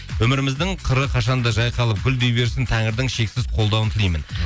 өміріміздің қыры қашан да жайқалып гүлдей берсін тәңірдің шексіз қолдауын тілеймін